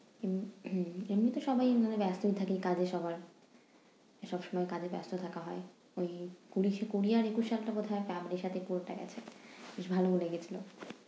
উম এমনিতে সবাই মানে ব্যস্তই থাকে কাজে সবার। সবসময় কাজে ব্যস্ত থাকা হয়। ওই কুড়িশে কুড়ি আর একুশ সালটা বোধহয় family র সাথে পুরোটা গেছে। বেশ ভালো mood এ গেছিলো।